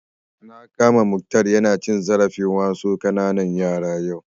Na kama Mukhtar ya na cin zarafin wasu ƙananan yara yau